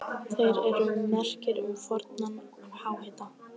Þær eru merki um fornan háhita.